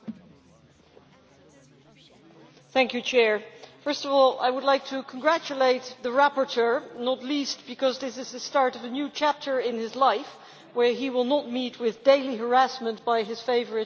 Mr President, first of all I would like to congratulate the rapporteur, not least because this is the start of a new chapter in his life where he will not meet with daily harassment by his favourite shadow rapporteur from the ALDE Group.